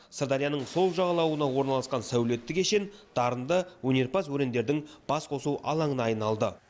сырдарияның сол жағалауына орналасқан сәулетті кешен дарынды өнерпаз өрендердің басқосу алаңына айналды